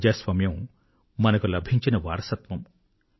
ప్రజాస్వామ్యము మనకు లభించిన వారసత్వము